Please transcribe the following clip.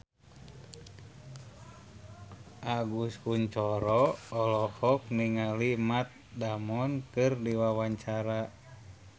Agus Kuncoro olohok ningali Matt Damon keur diwawancara